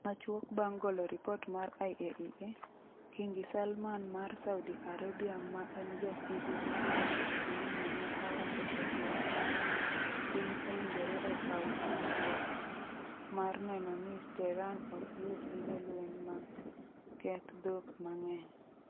Machuok bang' golo ripot mar IAEA, Kingi Salman mar Saudi Arabia - ma en jasigu gi Iran e pinyno - ne owacho e twak mare ni piny owinjore okaw "chikruok" mar neno ni Tehran ok yud gige lweny mag keth dhok mang'eny.